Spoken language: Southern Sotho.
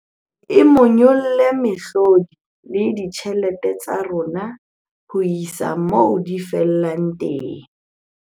E monyolla mehlodi le ditjhelete tsa rona ho isa moo di fellang teng.